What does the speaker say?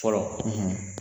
Fɔlɔ